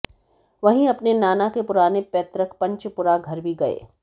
वहीं अपने नाना के पुराने पैतृक पंचपुरा घर भी गए